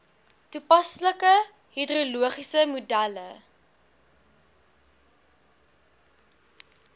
toepaslike hidrologiese modelle